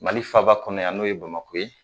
Mali faaba kɔnɔ yan n'o ye bamakɔ ye